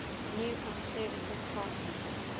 new conservative party